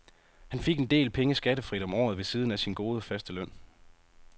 Han fik en del penge skattefrit om året ved siden af sin gode, faste løn.